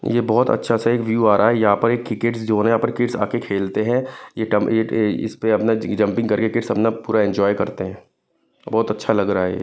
ये बहोत अच्छा सा एक व्यू आ रहा है यहां पर एक क्रिकेट जोन है यहा पर किड्स आकर खेलते है ये टम इस पे अपना जंपिंग करके किड्स अपना पूरा एंजॉय करते है बहोत अच्छा लग रहा है ये।